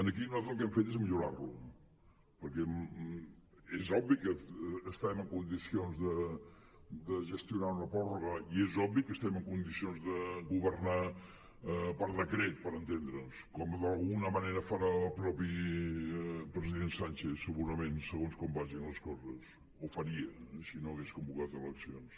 aquí nosaltres el que hem fet és millorar lo perquè és obvi que estem en condicions de gestionar una pròrroga i és obvi que estem en condicions de governar per decret per entendre’ns com d’alguna manera farà el mateix president sánchez suposadament segons com vagin les coses o faria si no hagués convocat eleccions